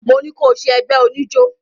Mo ní ko ṣẹ ẹgbé oníjó!